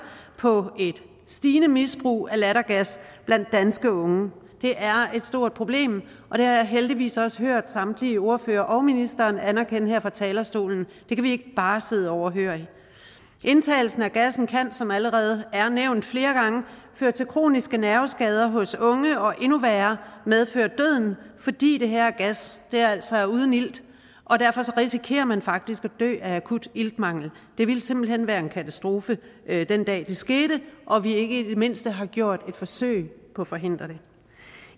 på et stigende misbrug af lattergas blandt danske unge det er et stort problem og jeg heldigvis også hørt samtlige ordførere og ministeren anerkende her fra talerstolen det kan vi ikke bare sidde overhørig indtagelsen af gassen kan som allerede nævnt flere gange føre til kroniske nerveskader hos unge og endnu værre medføre døden fordi den her gas altså er uden ilt derfor risikerer man faktisk at dø af akut iltmangel det ville simpelt hen være en katastrofe den dag det skete og vi ikke i det mindste havde gjort et forsøg på at forhindre det